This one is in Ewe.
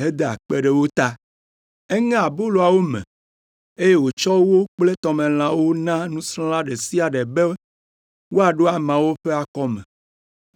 heda akpe ɖe wo ta. Eŋe aboloawo me, eye wòtsɔ wo kple tɔmelãwo na nusrɔ̃la ɖe sia ɖe be wòaɖo ameawo ƒe akɔme.